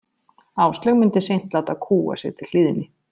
Áslaug myndi seint láta kúga sig til hlýðni.